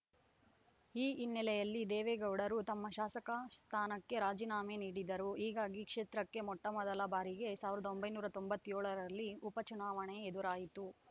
ಈ ಹಿನ್ನೆಲೆಯಲ್ಲಿ ದೇವೇಗೌಡರು ತಮ್ಮ ಶಾಸಕ ಸ್ಥಾನಕ್ಕೆ ರಾಜೀನಾಮೆ ನೀಡಿದರು ಹೀಗಾಗಿ ಕ್ಷೇತ್ರಕ್ಕೆ ಮೊಟ್ಟಮೊದಲ ಬಾರಿಗೆ ಸಾವಿರದ ಒಂಬೈನೂರ ತೊಂಬತ್ಯೋಳರಲ್ಲಿ ಉಪಚುನಾವಣೆ ಎದುರಾಯಿತು